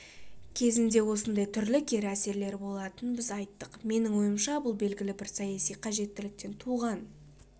кезінде осындай түрлі кері әсерлері болатынын біз айттық менің ойымша бұл белгілі бір саяси қажеттіліктен туған